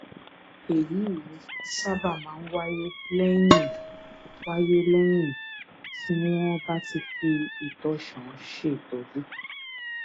èyí sábà máa ń wáyé lẹyìn wáyé lẹyìn tí wọn bá ti fi ìtànṣán ṣètọjú